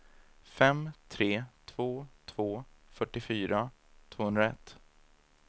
fem tre två två fyrtiofyra tvåhundraett